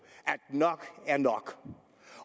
at nok er nok